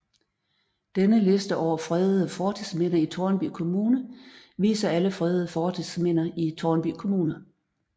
Denne liste over fredede fortidsminder i Tårnby Kommune viser alle fredede fortidsminder i Tårnby Kommune